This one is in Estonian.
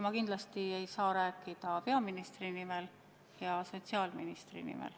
Ma kindlasti ei saa rääkida peaministri nimel ja sotsiaalministri nimel.